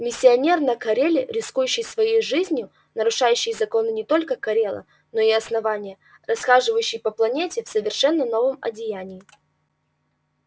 миссионер на кореле рискующий своей жизнью нарушающий законы не только корела но и основания расхаживающий по планете в совершенно новом одеянии